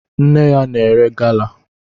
Nne ya na-ere gala